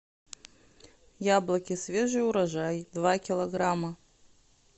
яблоки свежий урожай два килограмма